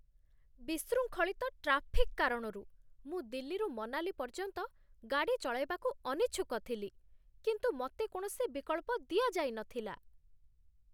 ବିଶୃଙ୍ଖଳିତ ଟ୍ରାଫିକ୍ କାରଣରୁ ମୁଁ ଦିଲ୍ଲୀରୁ ମନାଲି ପର୍ଯ୍ୟନ୍ତ ଗାଡ଼ି ଚଳାଇବାକୁ ଅନିଚ୍ଛୁକ ଥିଲି, କିନ୍ତୁ ମୋତେ କୌଣସି ବିକଳ୍ପ ଦିଆଯାଇ ନଥିଲା।